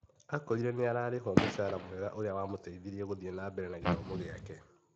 Akorire nĩ ararĩhwo mũcara mwega ũrĩa wamũteithirie gũthiĩ na mbere na gĩthomo gĩake.